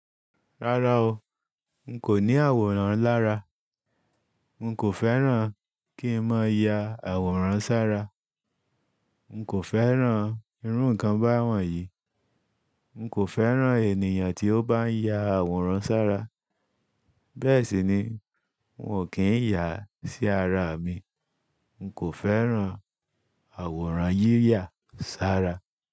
Rárá o, n kò ní àwòrán lára, n kò fẹ́ràn kí n máa ya àwòrán sára, n kò fẹ́ràn irú ǹkan báwọn yìí, n kò fẹ́ràn ènìyàn tí ó bá ń ya àwòrán sára bẹ́ẹ̀ sì ni n ò kí ń yà á sí ara mi, n kò fẹ́ràn àwòrán yíyà sára.